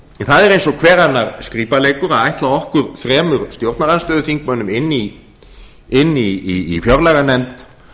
það er eins og hver annar skrípaleikur að ætla okkur þremur stjórnarandstöðuþingmönnum inni í fjárlaganefnd